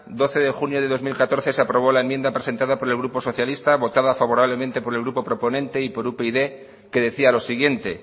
doce de junio de dos mil catorce se aprobó la enmienda presentado por el grupo socialista votada favorablemente por el grupo proponente y por upyd que decía los siguiente